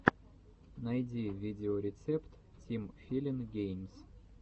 найди видеорецепт тим филин геймс